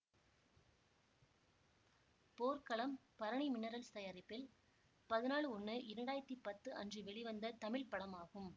போர்க்களம் பரணி மினரல்ஸ் தயாரிப்பில் பதினாலு ஒன்னு இரண்டாயிரத்தி பத்து அன்று வெளிவந்த தமிழ் படமாகும்